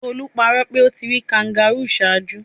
Tolu parọ pe o ti ri kangaroo ṣaaju